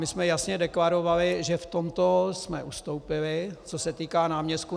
My jsme jasně deklarovali, že v tomto jsme ustoupili, co se týká náměstků.